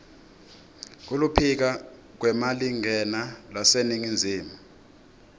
kuluphiko lwemalingena lwaseningizimu